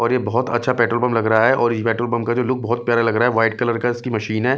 और ये बहुत अच्छा पेट्रोल पंप लग रहा है और ये पेट्रोल पंप का जो लुक बहुत प्यारा लग रहा है व्हाइट कलर का इसकी मशीन है।